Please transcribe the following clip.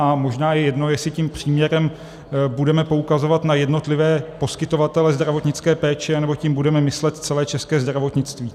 A možná je jedno, jestli tím příměrem budeme poukazovat na jednotlivé poskytovatele zdravotnické péče, nebo tím budeme myslet celé české zdravotnictví.